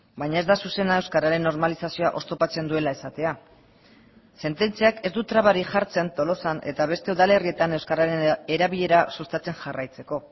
baina ez da zuzena euskararen normalizazioa oztopatzen duela esatea sententziak ez du trabarik jartzen tolosan eta beste udalerrietan euskararen erabilera sustatzen jarraitzeko